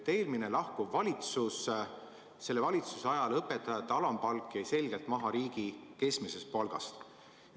Eelmise, peagi lahkuva valitsuse ajal jäi õpetajate alampalk selgelt maha riigi keskmisest palgast.